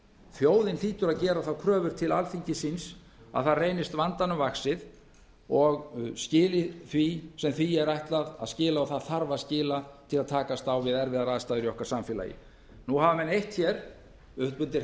þjóðin hlýtur að gera þá kröfu til alþingis síns að það reynist vandanum vaxið og skili því sem því er ætlað að skila og það þarf að skila til að takast á við erfiðar aðstæður í okkar samfélagi nú hafa menn eytt hér upp undir